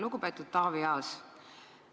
Lugupeetud Taavi Aas!